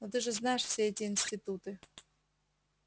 но ты же знаешь все эти институты